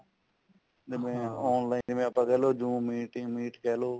online ਜਿਵੇਂ online ਆਪਾਂ ਕਹਿਲੋ ਜਿਵੇਂ ਕਹਿਲੋ